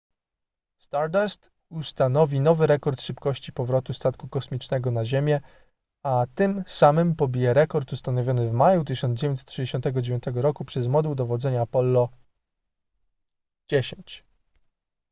stardust ustanowi nowy rekord szybkości powrotu statku kosmicznego na ziemię a tym samym pobije rekord ustanowiony w maju 1969 roku przez moduł dowodzenia apollo x